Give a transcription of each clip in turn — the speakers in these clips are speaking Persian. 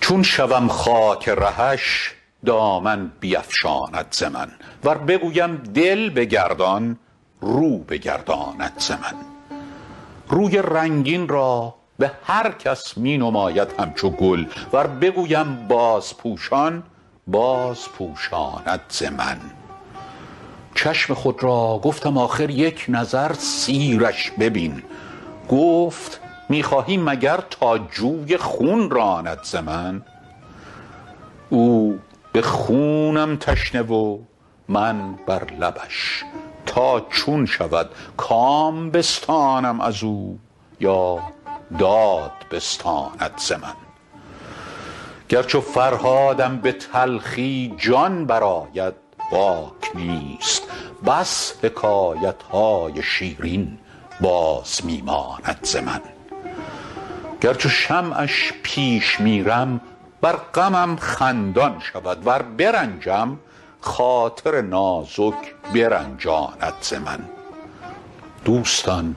چون شوم خاک رهش دامن بیفشاند ز من ور بگویم دل بگردان رو بگرداند ز من روی رنگین را به هر کس می نماید همچو گل ور بگویم بازپوشان بازپوشاند ز من چشم خود را گفتم آخر یک نظر سیرش ببین گفت می خواهی مگر تا جوی خون راند ز من او به خونم تشنه و من بر لبش تا چون شود کام بستانم از او یا داد بستاند ز من گر چو فرهادم به تلخی جان برآید باک نیست بس حکایت های شیرین باز می ماند ز من گر چو شمعش پیش میرم بر غمم خندان شود ور برنجم خاطر نازک برنجاند ز من دوستان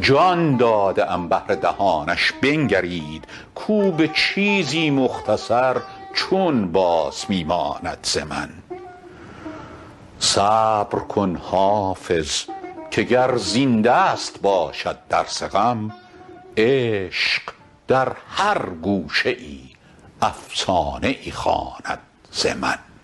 جان داده ام بهر دهانش بنگرید کو به چیزی مختصر چون باز می ماند ز من صبر کن حافظ که گر زین دست باشد درس غم عشق در هر گوشه ای افسانه ای خواند ز من